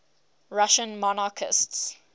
russian monarchists